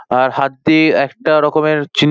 আর হাতটি একটা রকমের চিন--